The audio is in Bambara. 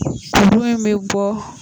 A in bɛ bɔ,